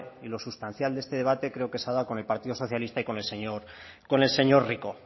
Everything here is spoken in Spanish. y lo sustancial de este debate creo que se ha dado con el partido socialista y con el señor rico